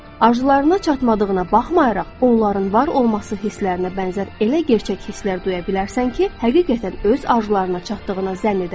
Arzularına çatmadığına baxmayaraq, onların var olması hisslərinə bənzər elə gerçək hisslər duya bilərsən ki, həqiqətən öz arzularına çatdığına zənn edərsən.